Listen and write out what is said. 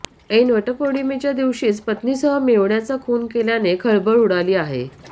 ऐन वटपौर्णिमेदिवशीच पत्नीसह मेहुण्याचा खून केल्याने खळबळ उडाली आहे